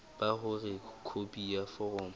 ba hore khopi ya foromo